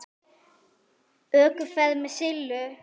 ÖKUFERÐ MEÐ SILLU